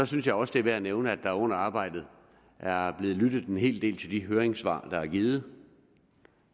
synes også det er værd at nævne at der under arbejdet er blevet lyttet en hel del til de høringssvar er afgivet